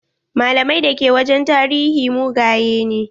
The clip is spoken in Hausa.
Malamai da ke wajen tarihi mugaye ne.